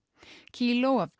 kíló af